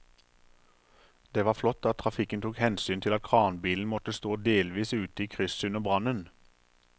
Det var flott at trafikken tok hensyn til at kranbilen måtte stå delvis ute i krysset under brannen.